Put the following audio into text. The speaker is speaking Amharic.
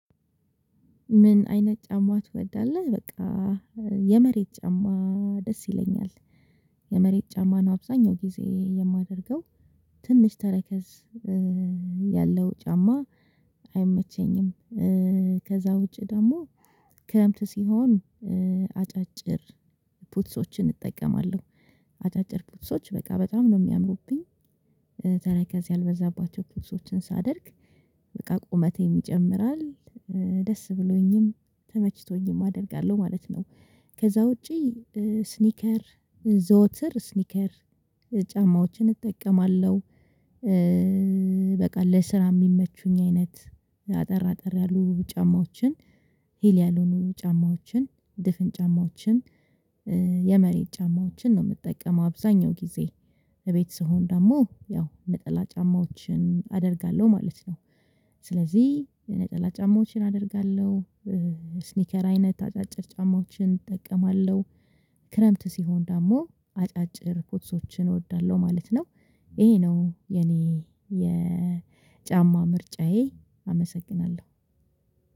ምን አይነት ጫማ ትወዳለህ? በቃ የመሬት ጫማ ደስ ይለኛል። የመሬት ጫማ ነው አብዛኛው ጊዜ የማደርገው ትንሽ ተረከዝ ያለው ጫማ አይመቸኝም። ከዛ ውጪ ደግሞ ክረምት ሲሆን አጫጭር ፑትሶችን እጠቀማለሁ። አጫጭር ፑትሶች በቃ በጣም ነው የሚያምሩብኝ ያልበዛባቸው ፍጹም ሳደርግ በቃ ቁመቴ ይጨምራል ደስ ብሎኝም ተመችቶኝም አደርጋለሁ ማለት ነው። ከዛ ውጪ ስኒከር ዘወትር ስኒከር ጫማዎችን እጠቀማለሁ። በቃ ለስራ የሚመቹኝ አይነት አጠር አጠር ያሉ ጫማዎችን ሂል ያልሆኑ ጫማዎችን ድፍን ጫማዎችን የመሬት ጫማዎችን ነው የምጠቀመው አብዛኛው ጊዜ እቤት ስሆን ደግሞ ያው ነጠላ ጫማዎችን አደርጋለሁ ማለት ነው። ስለዚህ የነጠላ ጫማዎችን አደርጋለሁ ስኒከር አይነት አጫጭር ጫማዎችን እጠቀማለሁ። ክረምት ሲሆን ደግሞ አጫጭር ቡትሶችን እወዳለሁ ማለት ነው። ይሄ ነው የኔ የጫማ ምርጫዬ። አመሰግናለሁ።